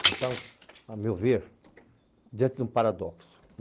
Nós estávamos, a meu ver, diante de um paradoxo.